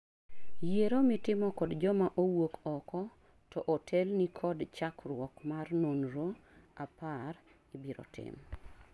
Yiero mitimo kod joma owuok oko to otelni kod chakruok mar nonro apar (10) ibiro tim